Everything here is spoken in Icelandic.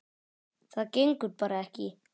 Það gengur bara ekki.